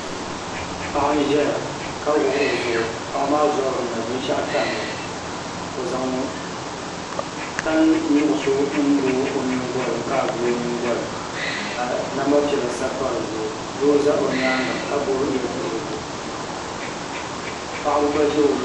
Paɣa n ʒɛya ka wuɣi o nuu paɣa maa zabiri ni binshaɣu tamya o zaŋ tani nuɣso n lo o nyingoli kaai vuli o nyingoli ka namba piɛla sabi pa dizuɣu doo ʒɛ o nyaanga ka gbubi yɛ duɣurigu paɣaba gba ʒɛ o luɣuli ni